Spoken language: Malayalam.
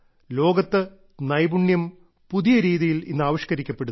ലോകത്ത് നൈപുണ്യം പുതിയ രീതിയിൽ ഇന്ന് ആവിഷ്ക്കരിക്കപ്പെടുന്നു